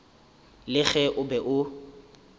le ge o be o